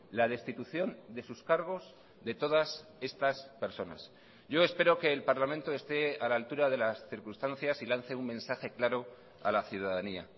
la destitución de sus cargos de todas estas personas yo espero que el parlamento esté a la altura de las circunstancias y lance un mensaje claro a la ciudadanía